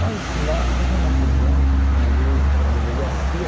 Mas na mesmo na prisão, ali na delegacia,